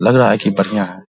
लग रहा है कि बढ़ियाँ है ।